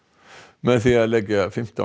með því að leggja fimmtán